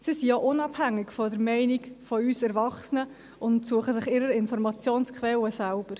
Sie sind auch unabhängig von der Meinung von uns Erwachsenen und suchen sich ihre Informationsquellen selbst.